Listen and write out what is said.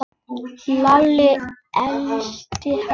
Lalli elti hann.